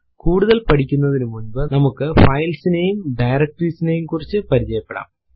കൂടുതൽ പഠിക്കുനതിനുമുന്പു നമുക്ക് ഫൈൽസ് നെയും ഡയറക്ടറീസ് യെക്കുറിച്ചും പരിചയപെടാം